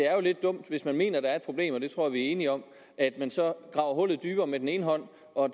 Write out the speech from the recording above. er lidt dumt hvis man mener at der er et problem og det tror jeg vi er enige om at man så graver hullet dybere med den ene hånd og